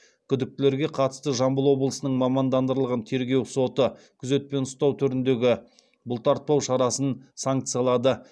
күдіктілерге қатысты жамбыл облысының мамандандырылған тергеу соты күзетпен ұстау түріндегі бұлтартпау шарасын санкциялады